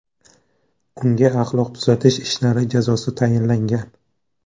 Unga axloq tuzatish ishlari jazosi tayinlangan.